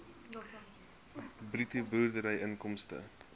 bruto boerderyinkomste